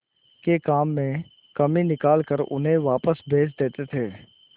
के काम में कमी निकाल कर उन्हें वापस भेज देते थे